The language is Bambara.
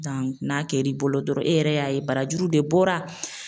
n'a kɛr'i bolo dɔrɔn e yɛrɛ y'a ye barajuru de bɔra